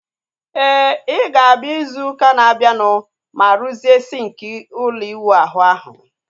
Éè, I ga-abịa izu ụka na abianu ma ruzie sinki ụlọ iwu ahụ ahu